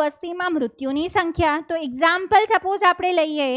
વસ્તીમાં મૃત્યુની સંખ્યા તો example suppose આપણે લઈએ.